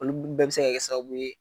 Olu bɛɛ bɛ se ka kɛ sababu ye,